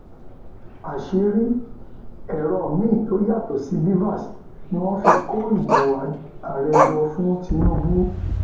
àṣírí èrò miín tó yàtọ sí bvas ni inov fi kó ìbò ààrẹ jọ fún tinubu